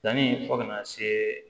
Danni fo ka na se